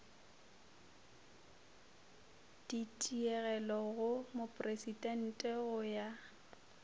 ditigelo go mopresidente go ya